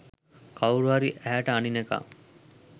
කවුරුහරි ඇහැට අනිනකං